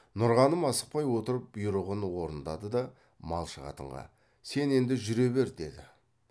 нұрғаным асықпай отырып бұйрығын орындады да малшы қатынға сен енді жүре бер деді